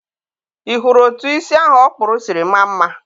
ị hụrụ etụ isi ahụ ọ kpụrụ siri maa mma?